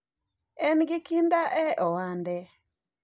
en gi kinda e ohande